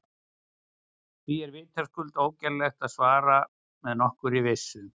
Því er vitaskuld ógerlegt að svara með nokkurri vissu.